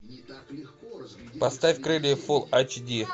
поставь крылья